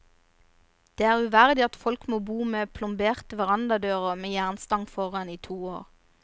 Det er uverdig at folk må bo med plomberte verandadører med jernstang foran i to år.